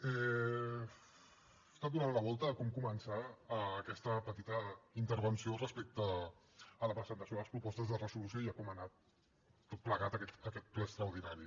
he estat donant la volta a com començar aquesta petita intervenció respecte a la presentació de les propostes de resolució i a com ha anat tot plegat aquest ple extraordinari